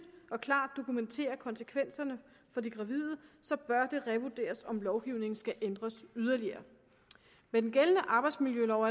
og klart dokumenterer konsekvenserne for de gravide så bør det revurderes om lovgivningen skal ændres yderligere med den gældende arbejdsmiljølov